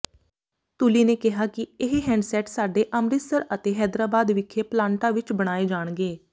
ਤੁਲੀ ਨੇ ਕਿਹਾ ਕਿ ਇਹ ਹੈਂਡਸੈੱਟ ਸਾਡੇ ਅੰਮਿ੍ਰਤਸਰ ਅਤੇ ਹੈਦਰਾਬਾਦ ਵਿਖੇ ਪਲਾਂਟਾਂ ਵਿਚ ਬਣਾਏ ਜਾਣਗੇ